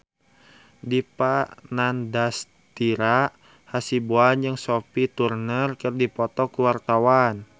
Dipa Nandastyra Hasibuan jeung Sophie Turner keur dipoto ku wartawan